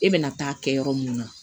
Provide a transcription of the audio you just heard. E bɛna taa kɛ yɔrɔ mun na